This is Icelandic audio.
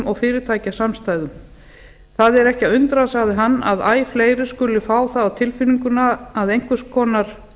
og fyrirtækjasamstæðum það er ekki að undra sagði hann að æ fleiri skuli fá það á tilfinninguna að